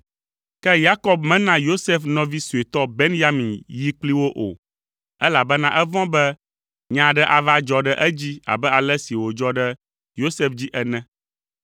Ke Yakob mena Yosef nɔvi suetɔ Benyamin yi kpli wo o, elabena evɔ̃ be nya aɖe ava adzɔ ɖe edzi abe ale si wòdzɔ ɖe Yosef dzi ene.